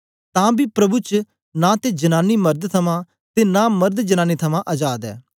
तां बी प्रभु च नां ते जनांनी मर्द थमां ते नां मर्द जनांनी थमां अजाद ऐ